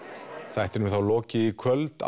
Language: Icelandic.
þættinum er þá lokið í kvöld